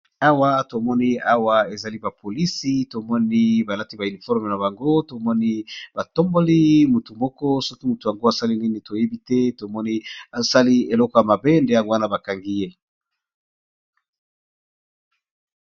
Awa to moni awa ezali ba polisi. To moni ba lati ba iniforme na bango. To moni ba tomboli motu moko. Soki motu yango asali nini to yebi te. To moni asali eloko ya mabe nde yango wana bakangi ye.